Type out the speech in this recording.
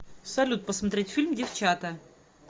салют посмотреть фильм девчата